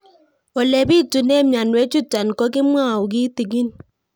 Ole pitune mionwek chutok ko kimwau kitig'ín